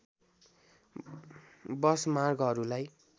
बस मार्गहरूलाई